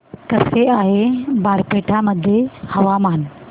कसे आहे बारपेटा मध्ये हवामान